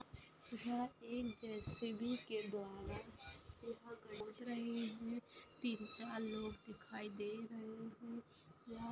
यहाँ एक जेसीबी के द्वारा खोद रहे है। तीन चार लोग दिखाई दे रहे है। यहाँ--